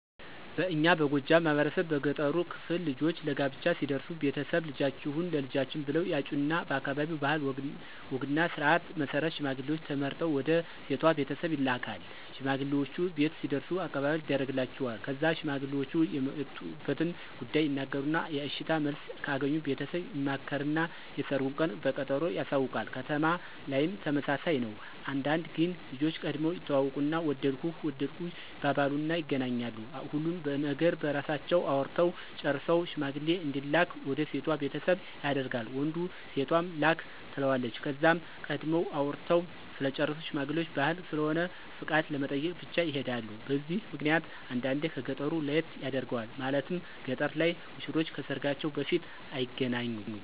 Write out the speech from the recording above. በእኛ በጎጃም ማህበረሰብ በገጠሩ ክፍል ልጆች ለጋብቻ ሲደርሱ ቤተሰብ፣ ልጃችሁን ለልጃችን ብለው ያጩና በአካባቢው ባህል ወግና ስርዓት መሰረት ሽማግሌውች ተመርጠው ወደ ሴቷ ቤተሰብ ይላካል። ሽማግሌውች ቤት ሲደርሱም አቀባበል ይደርግላቸዋል። ከዛ ሽማግሌውች የመጡበትን ጉዳይ ይናገሩና የእሽታ መልስ ከአገኙ ቤተሰብ ይማከርና የሰርጉን ቀን በቀጠሮ ያሳውቃሉ። ከተማ ላይም ተመሳሳይ ነው። አንዳንዴ ግን ልጆች ቀድመው ይተዋወቁና ወደድኩህ ወደድኩሽ ይባባሉና ይገናኛሉ። ሁሉን ነገር በራሳቸው አውርተው ጨርሰው ሽማግሌ እንዲላክ ወደ ሴቷ ቤተሰብ ያደርጋል ወንዱ ሴቷም ላክ ትለዋለች። ከዛም ቀድመው አውርተው ስለጨረሱ ሽማግሌውች ባህል ስለሆነ ፍቃድ ለመጠየቅ ብቻ ይሔዳሉ። በዚህ ምክንያት አንዳንዴ ከ ገጠሩ ለየት ያደርገዋል። ማለትም ገጠር ላይ ሙሽሮች ከሰርጋቸው በፊት አይገናኙም።